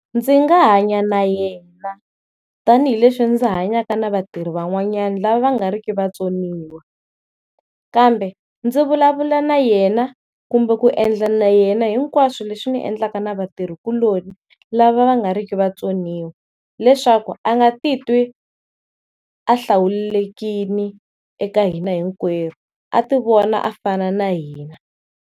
Ndzi nga hanya na yena tanihileswi ndzi hanyaka na vatirhi van'wanyana lava va nga ri ki vatsoniwa, kambe ndzi vulavula na yena kumbe ku endla na yena hinkwaswo leswi ndzi endlaka na vatirhikuloni lava va nga ri ki na vutsoniwa leswaku a nga titwi a hlawulekile eka hina hinkwerhu a ti vona a fana na hina.